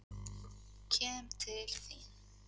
Kem til þín.